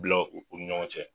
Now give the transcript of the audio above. Bila u ni ɲɔgɔn cɛ